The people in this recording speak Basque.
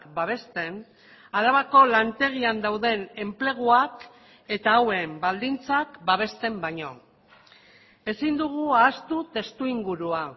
babesten arabako lantegian dauden enpleguak eta hauen baldintzak babesten baino ezin dugu ahaztu testuingurua